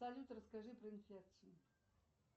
салют расскажи про инфекцию